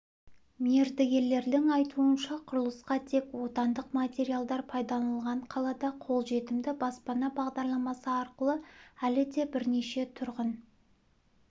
мердігерлердің айтуынша құрылысқа тек отандық материалдар пайдаланылған қалада қолжетімді баспана бағдарламасы арқылы әлі де бірнеше тұрғын